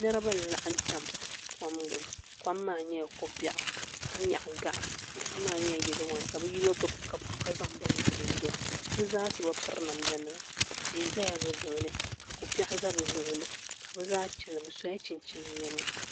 Niriba n laɣim tam kom gbini kom maa nyɛla ko'biaɣu ka nyaɣi gaɣa gaɣa maa nyɛla yelo wan ka bɛ yino gbibi kapu ka zaŋ bini vili o zuɣu bɛ zaa so bi piri namda nima tehi zala bɛ luɣuli ka bɛ zaa chena bɛ sola chinchini niɛma.